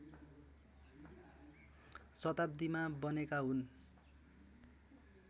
शताब्दीमा बनेका हुन्